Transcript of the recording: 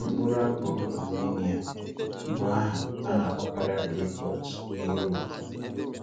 Mkpụrụ̀ ápùl Ạrmenia bụ́ àhà a na-akpọkarị́ aprícọ́t n’Ụ́ròpù.